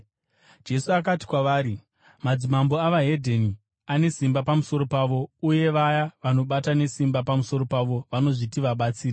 Jesu akati kwavari, “Madzimambo evedzimwe ndudzi ane simba pamusoro pavo; uye vaya vanobata nesimba pamusoro pavo vanozviti vabatsiri.